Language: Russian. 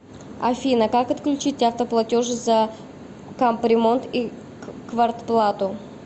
афина как отключить автоплатеж за капремонт и квартплату